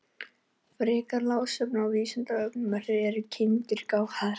Frekara lesefni á Vísindavefnum: Eru kindur gáfaðar?